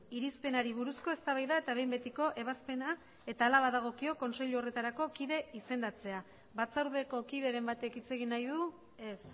irizpenari buruzko eztabaida eta behin betiko ebazpena eta hala badagokio kontseilu horretako kide izendatzea batzordeko kideren batek hitz egin nahi du ez